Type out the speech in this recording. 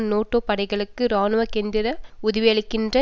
NATO படைகளுக்கு இராணுவ கேந்திர உதவியளிக்கின்ற